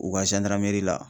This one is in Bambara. U ka la.